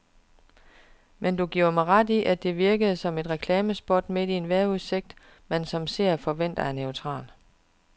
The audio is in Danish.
Men giver du mig ret i, at det virkede som et reklamespot midt i en vejrudsigt, man som seer forventer er neutral.